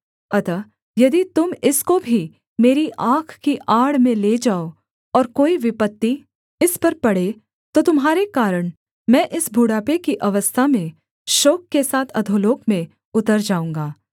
अतः यदि तुम इसको भी मेरी आँख की आड़ में ले जाओ और कोई विपत्ति इस पर पड़े तो तुम्हारे कारण मैं इस बुढ़ापे की अवस्था में शोक के साथ अधोलोक में उतर जाऊँगा